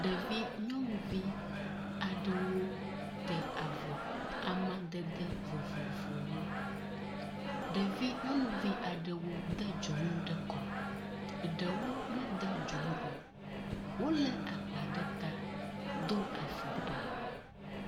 Ɖevi nyɔnuvi aɖewo te avɔ amadede vovovowo. Ɖevinyɔnuvi aɖewo de dzonu kɔ, eɖewo mede dzonu o. Wolé agba ɖe ta do afɔkpa.